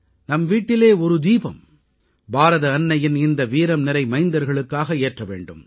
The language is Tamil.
நம் வீட்டில் ஒரு தீபம் பாரத அன்னையின் இந்த வீரம்நிறை மைந்தர்களுக்காக ஏற்ற வேண்டும்